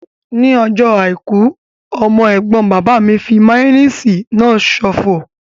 Ní ọjọ́ àìkú, ọmọ ẹ̀gbọ́n bàbá mi fí máyóníìsì náà ṣòfò